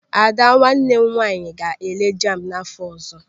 Ada nwanne m nwaanyị ga-ele jambu n'afọ ọzọ.